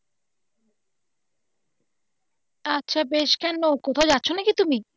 আচ্ছা বেশ কেন কোথাও যাচ্ছ নাকি তুমি?